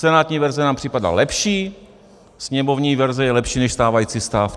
Senátní verze nám připadá lepší, sněmovní verze je lepší než stávající stav.